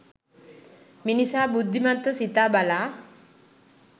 මිනිසා බුද්ධිමත්ව සිතා බලා